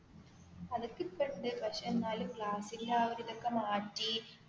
അത് ഒക്കേ ഇപ്പം ഉണ്ട് പക്ഷേ എന്നാലും ഗ്ളാസ്സ്ന്റെ ആ ഒരു ഇതൊക്കെ മാറ്റി,